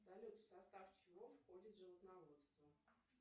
салют в состав чего входит животноводство